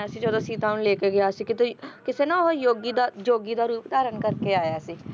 ਜਦੋਂ ਸੀਤਾ ਨੂੰ ਲੈਕੇ ਗਿਆ ਸੀ ਤੇ ਕਿਸੇ ਨਾ ਉਹ ਯੋਗੀ ਦਾ ਯੋਗੀ ਦਾ ਰੂਪ ਧਾਰਨ ਕਰਕੇ ਆਇਆ ਸੀ